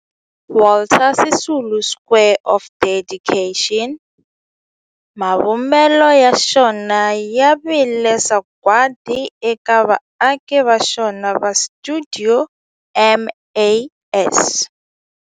Walter Sisulu Square of Dedication, mavumbelo ya xona ya vile sagwadi eka vaaki va xona va stuidio MAS.